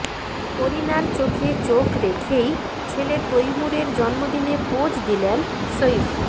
করিনার চোখে চোখ রেখেই ছেলে তৈমুরের জন্মদিনে পোজ দিলেন সইফ